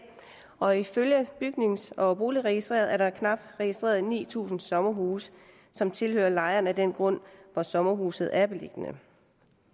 og ifølge bygnings og boligregistret er der knap ni tusind registrerede sommerhuse som tilhører lejeren af den grund hvor sommerhusene er beliggende